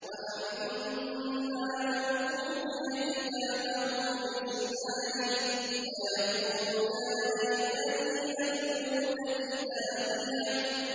وَأَمَّا مَنْ أُوتِيَ كِتَابَهُ بِشِمَالِهِ فَيَقُولُ يَا لَيْتَنِي لَمْ أُوتَ كِتَابِيَهْ